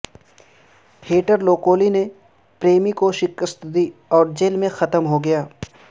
heater لوکولی نے پریمی کو شکست دی اور جیل میں ختم ہوگیا